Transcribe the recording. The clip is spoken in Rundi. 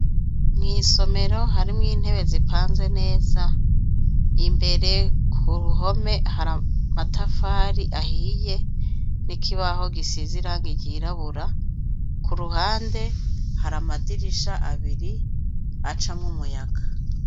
Mwisomero harimwo intebe zipanze neza imbere kuruhome hari amatafari ahiye nikibaho gisize irangi ryirabura kuruhande hari amadirisha abiri acamwo umuyaga